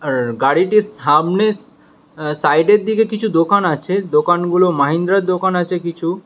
আর গাড়িটির সামনের আ সাইড এর দিকে কিছু দোকান আছে দোকানগুলো মাহিন্দ্রার দোকান আছে কিছু।